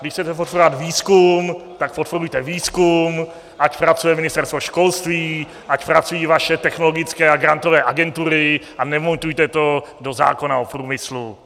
Když chcete podporovat výzkum, tak podporujte výzkum, ať pracuje Ministerstvo školství, ať pracují vaše technologické a grantové agentury a nemontujte to do zákona o průmyslu.